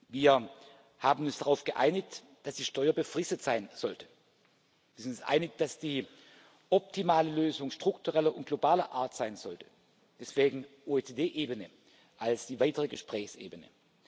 Wir haben uns darauf geeinigt, dass die Steuer befristet sein sollte. Wir sind uns einig, dass die optimale Lösung struktureller und globaler Art sein sollte deswegen die OECD Ebene als die weitere Gesprächsebene.